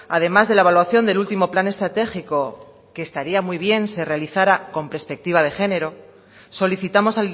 además de la evaluación del último plan estratégico que estaría muy bien se realizará con perspectiva de género solicitamos